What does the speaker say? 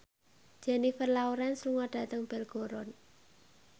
Jennifer Lawrence lunga dhateng Belgorod